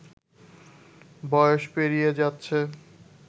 বয়স পেরিয়ে যাচ্ছে